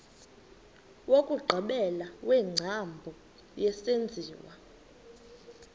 wokugqibela wengcambu yesenziwa